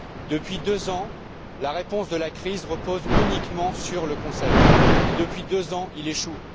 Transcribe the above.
Depuis deux ans, la réponse à la crise repose uniquement sur le Conseil et, depuis deux ans, il échoue.